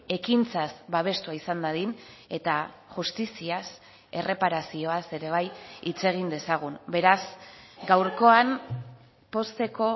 ekintzaz babestua izan dadin eta justiziaz erreparazioaz ere bai hitz egin dezagun beraz gaurkoan pozteko